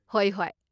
ꯍꯣꯏ, ꯍꯣꯏ꯫